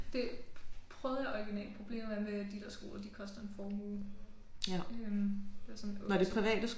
Det prøvede jeg originalt problemet er med de der skole de koster en formue øh det er sådan 2 skoler